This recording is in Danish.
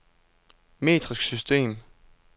metrisk system